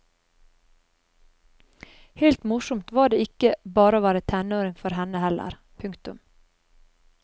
Helt morsomt var det ikke bare å være tenåring for henne heller. punktum